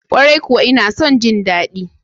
Kwarai kuwa ina son ji daɗi.